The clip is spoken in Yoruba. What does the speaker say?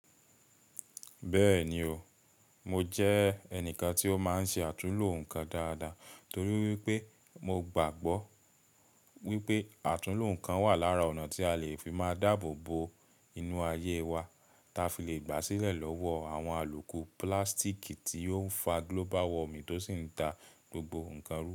Bẹ́ẹ̀ni o, mo jẹ́ ẹnìkan tí ó máa ń ṣe àtúnlo nǹkan dáadáa torí wípé mo gbàgbọ́ wípé àtúnlo nǹkan wà lára ọ̀nà tí a lè fi máa dáàbò bo inú ayé wa, ta fi lè gbà sílẹ̀ lọ́wọ́ àwọn alùpùpù pílásítíìkì tí ó ń fa global warming tó sì ń ta gbogbo nǹkan rú.